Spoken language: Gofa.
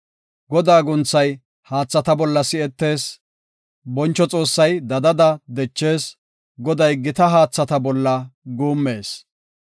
Godaa guunthay haathata bolla si7etees; boncho Xoossay dadada dechees; Goday gita haathata bolla guummees.